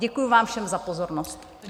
Děkuji vám všem za pozornost.